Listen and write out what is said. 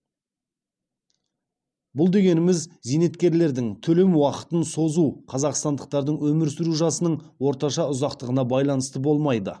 бұл дегеніміз зейнеткерлердің төлем уақытын созу қазақстандықтардың өмір сүру жасының орташа ұзақтығына байланысты болмайды